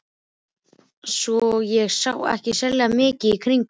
Svo ég sá ekki sérlega mikið í kringum mig.